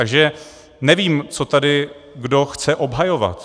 Takže nevím, co tady kdo chce obhajovat.